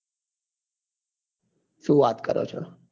શું વાત કરો છો?